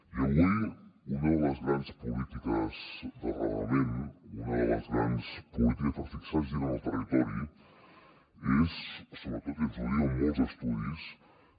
i avui una de les grans polítiques d’arrelament una de les grans polítiques per fixar gent en el territori és sobretot i ens ho diuen molts estudis